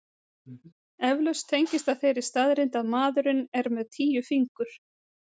Eflaust tengist það þeirri staðreynd að maðurinn er með tíu fingur.